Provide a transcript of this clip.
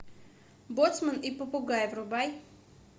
боцман и попугай врубай